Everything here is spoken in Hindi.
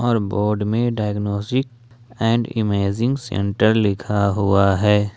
बोर्ड में डायग्नोसिक एंड इमेजिंग सेंटर लिखा हुआ है।